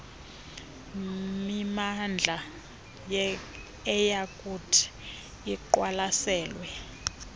mimandla eyakuthi iqwalaselwe